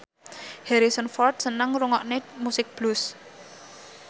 Harrison Ford seneng ngrungokne musik blues